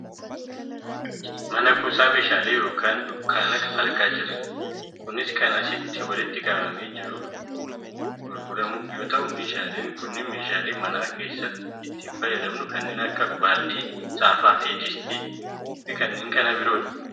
Mana kuusaa meeshaalee yookaa dunkaana argaa kan jirrudha. Kunis kan asitti walitti qabamee jiruuf gurguramuuf yoo ta'u meeshaaleen kunniin meeshalaee mana keesaatti itti fayyadamnu kanneen akka baaldii, saafaa, distii fi kanneen biroodha.